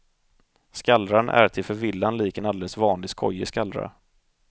Skallran är till förvillan lik en alldeles vanlig skojig skallra.